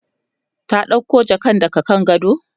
ta ɗauko jakan daga kan gado?